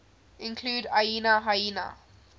include aina haina